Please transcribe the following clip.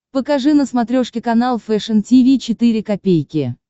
покажи на смотрешке канал фэшн ти ви четыре ка